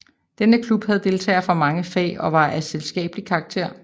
Denne klub havde deltagere fra mange fag og var af selskabelig karakter